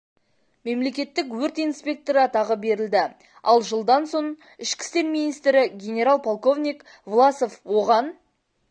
мемлекеттік өрт инспекторы атағы берілді ал жылдан соң ішкі істер министрі генерал-полковник власов оған